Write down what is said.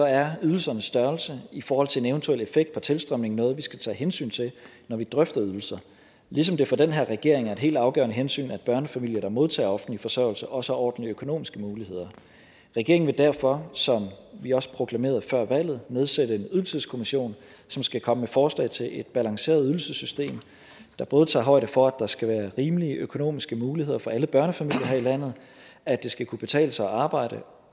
er ydelsernes størrelse i forhold til en eventuel effekt på tilstrømningen noget vi skal tage hensyn til når vi drøfter ydelser ligesom det for den her regering er et helt afgørende hensyn at børnefamilier der modtager offentlig forsørgelse også har ordentlige økonomiske muligheder regeringen vil derfor som vi også proklamerede før valget nedsætte en ydelseskommission som skal komme med forslag til et balanceret ydelsessystem der både tager højde for at der skal være rimelige økonomiske muligheder for alle børnefamilier her i landet og at det skal kunne betale sig at arbejde